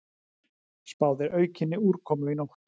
Spáð er aukinni úrkomu í nótt